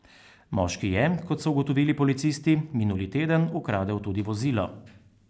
Moški je, kot so ugotovili policisti, minuli teden ukradel tudi vozilo.